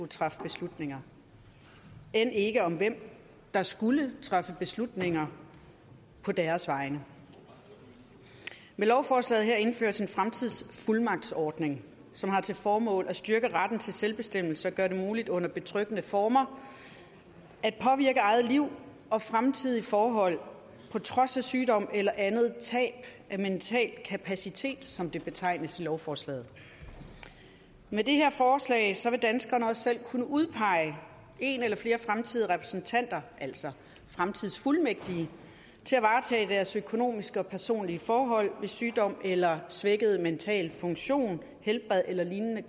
træffe beslutninger end ikke om hvem der skulle træffe beslutninger på deres vegne med lovforslaget her indføres en fremtidsfuldmagtsordning som har til formål at styrke retten til selvbestemmelse og gøre det muligt under betryggende former at påvirke eget liv og fremtidige forhold på trods af sygdom eller andet tab af mental kapacitet som det betegnes i lovforslaget med det her forslag vil danskerne også selv kunne udpege en eller flere fremtidige repræsentanter altså fremtidsfuldmægtige til at varetage deres økonomiske og personlige forhold ved sygdom eller svækket mental funktion helbred eller lignende